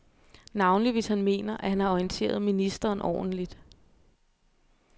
Navnlig hvis han mener, at han har orienteret ministeren ordentligt.